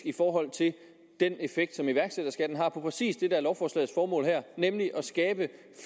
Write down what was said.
i forhold til den effekt som iværksætterskatten har på præcis det som er lovforslagets formål her nemlig at skabe